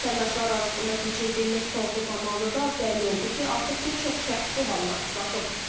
Vətəndaşlar arasında keçirdiyimiz sorğu zamanı da bəlli oldu ki, artıq bir çox şəxs bu hallara rastlaşıb.